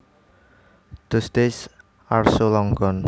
Those days are so long gone